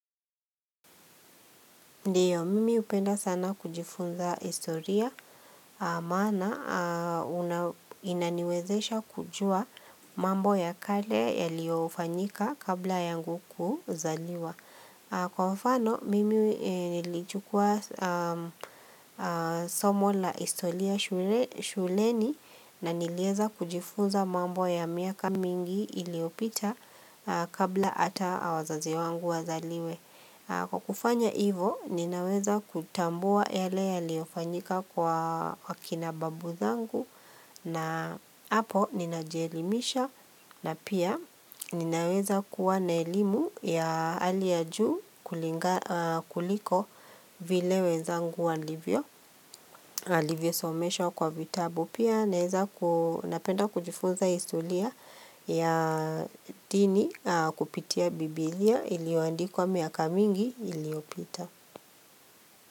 Ndiyo, mimi hupenda sana kujifunza historia, maana inaniwezesha kujua mambo ya kale yaliyofanyika kabla yangu kuzaliwa. Kwa wafano, mimi nilichukua somo la historia shuleni na niliweza kujifunza mambo ya miaka mingi iliyopita kabla hata wazazi wangu wazaliwe. Kwa kufanya hivo ninaweza kutambua yale yaliyofanyika kwa kina babu zangu na hapo ninajielimisha na pia ninaweza kuwa na elimu ya hali ya juu kuliko vile wezangu walivyo. Alivyo someshwa kwa vitabu. Pia napenda kujifunza historia ya dini kupitia bibilia iliyoandikwa miaka mingi iliyopita.